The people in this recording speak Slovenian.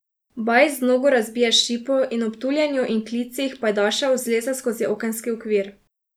Bajs z nogo razbije šipo in ob tuljenju in klicih pajdašev zleze skozi okenski okvir.